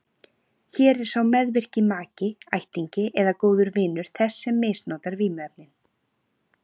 Hér er sá meðvirki maki, ættingi eða góður vinur þess sem misnotar vímuefnin.